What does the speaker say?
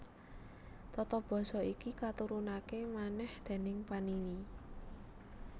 Tata basa iki katurunaké manèh déning Panini